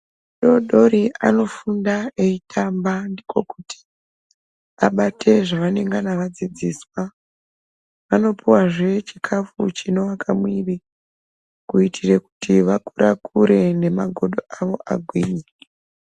Vana vadodori anofunda eitamba ndiko kuti abate zvaanengana adzidziswa. Anopiwazve chikafu chinoake muiri kuitira kuti akure- kure nemagodo avo agwinye.